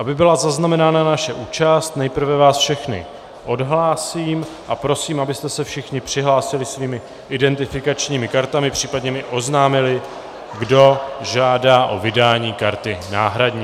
Aby byla zaznamenána naše účast, nejprve vás všechny odhlásím a prosím, abyste se všichni přihlásili svými identifikačními kartami, případně mi oznámili, kdo žádá o vydání karty náhradní.